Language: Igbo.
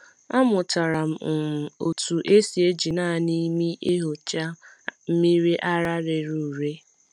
Amụtara m um otú esi eji naanị imi enyocha mmiri ara rere ure.